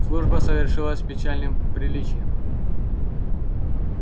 служба совершилась с печальным приличием